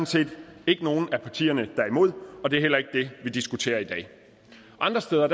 set ikke nogen af partierne der er imod og det er heller ikke det vi diskuterer i dag andre steder